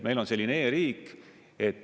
Meil on selline e-riik.